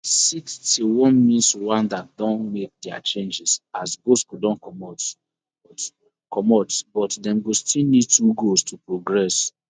sixty-one mins rwanda don make dia changes as bosco don comot but comot but dem go still need two goals to progress